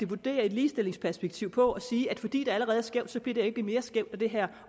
vurdere et ligestillingsperspektiv på at sige at fordi det allerede er skævt bliver det ikke mere skævt af det her